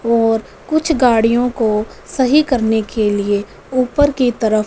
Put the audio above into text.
और कुछ गाड़ियों को सही करने के लिए ऊपर की तरफ--